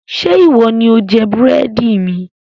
Ṣé ìwọ ni ó jẹ búrẹ́dì mi?